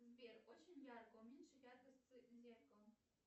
сбер очень ярко уменьши яркость зеркала